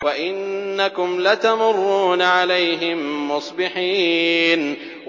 وَإِنَّكُمْ لَتَمُرُّونَ عَلَيْهِم مُّصْبِحِينَ